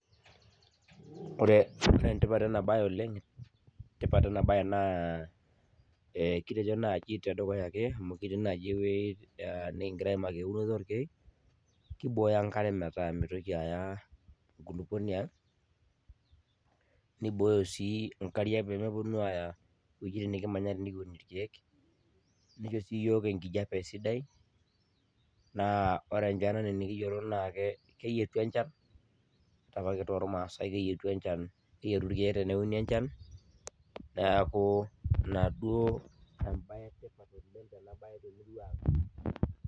Ore e tipat ena bae oleng, tipat enabe naa kitejo naaji tedukuya ake amuu ketii naaji ewueji nikingira aimaki eunoto ooorekek. Naa keiboyo enkare metaa meitoki yaya enkulupuoni ang. Neibooyo sii inkariak pee meponu aaya iwuejitin nikimanya tenikiun irkeek. Neisho sii iyiook enkijape sidai naa ore enchan anaa enikiyiolo naaa keyietu enchan ore apake too maasai keyietu enchan, keyietu irkeek enchan. niaku inaduo embae etipat oleng